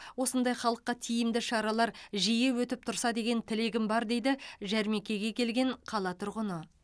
осындай халыққа тиімді шаралар жиі өтіп тұрса деген тілегім бар дейді жәрмеңкеге келген қала тұрғыны